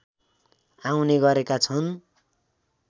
आउने गरेका छन्